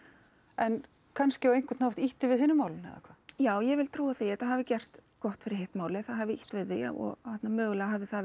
en kannski á einhvern hátt ýtti við hinu málinu eða hvað já ég vil trúa því að þetta hafi gert gott fyrir hitt málið það hafi ýtt við því og mögulega hafi það